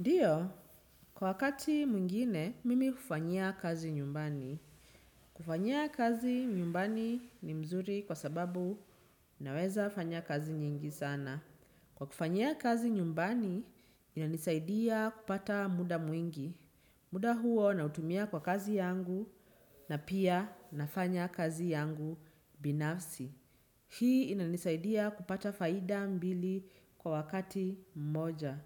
Ndio, kwa wakati mwingine, mimi hufanyia kazi nyumbani. Kufanyia kazi nyumbani ni mzuri kwa sababu naweza fanya kazi nyingi sana. Kwa kufanyia kazi nyumbani, inanisaidia kupata muda mwingi. Muda huo nautumia kwa kazi yangu na pia nafanya kazi yangu binafsi. Hii inanisaidia kupata faida mbili kwa wakati mmoja.